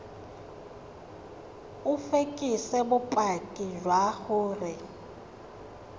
o fekese bopaki jwa gore